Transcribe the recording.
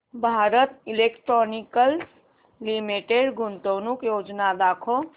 Bharat electronics limited गुंतवणूक योजना दाखव